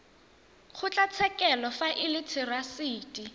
kgotlatshekelo fa e le therasete